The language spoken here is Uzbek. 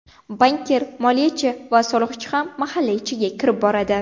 Bankir, moliyachi va soliqchi ham mahalla ichiga kirib boradi.